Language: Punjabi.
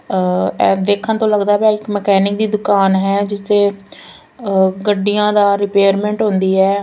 ਇਹ ਵੇਖਣ ਤੋਂ ਲੱਗਦਾ ਪਿਆ ਇੱਕ ਮਕੈਨਿਕ ਦੀ ਦੁਕਾਨ ਹੈ ਜਿਸ ਤੇ ਗੱਡੀਆਂ ਦਾ ਰਿਪੇਅਰਮੈਂਟ ਹੁੰਦੀ ਹੈ।